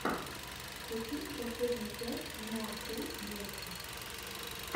включи мне последнюю часть нуахюл муви